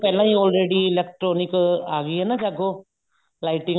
ਪਹਿਲਾਂ ਹੀ all ready electronic ਆ ਗਈ ਹੈ ਨਾ ਜਾਗੋ lighting